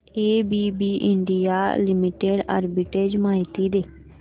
ABB India limited arbitrage माहिती दे